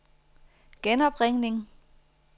genopringning